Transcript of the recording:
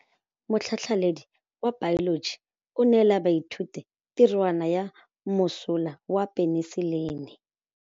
Motlhatlhaledi wa baeloji o neela baithuti tirwana ya mosola wa peniselene.